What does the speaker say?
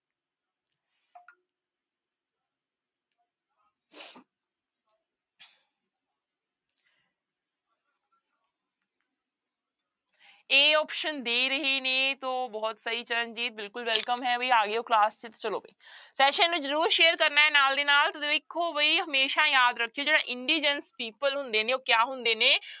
a option ਦੇ ਰਹੇ ਨੇ ਤੋ ਬਹੁਤ ਸਹੀ ਚਰਨਜੀਤ ਬਿਲਕੁਲ welcome ਹੈ ਵੀ ਆ ਗਏ ਹੋ class ਚ ਚਲੋ ਵੀ session ਨੂੰ ਜ਼ਰੂਰ share ਕਰਨਾ ਹੈ ਨਾਲ ਦੀ ਨਾਲ, ਤੇ ਦੇਖੋ ਵੀ ਹਮੇਸ਼ਾ ਯਾਦ ਰੱਖਿਓ ਜਿਹੜਾ indigence people ਹੁੰਦੇ ਨੇ ਉਹ ਕਿਆ ਹੁੰਦੇ ਨੇ,